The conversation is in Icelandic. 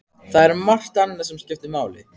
Það er margt annað sem skiptir máli.